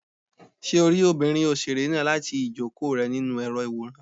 Ṣé o rí òṣèré obìnrin náà láti ìjókòó rẹ nínú èrò ìwòran?